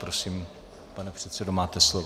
Prosím, pane předsedo, máte slovo.